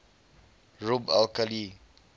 rub al khali